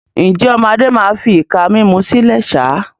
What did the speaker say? Ǹjẹ́, ọmọ Adé máa fi ìka mímú sílẹ̀ sá?